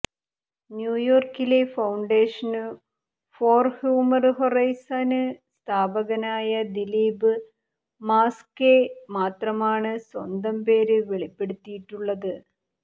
ന്യൂയോര്ക്കിലെ foundation for human horizon സ്ഥാപകനായ ദിലീപ് മാസ്കേ മാത്രമാണ് സ്വന്തം പേര് വെളിപ്പെടുത്തിയിട്ടുള്ളത്